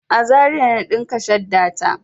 A Zaria na ɗinka shadda ta.